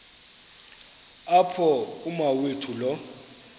apho umawethu lo